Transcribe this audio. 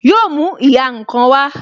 Yo mú ìhà ǹkan wá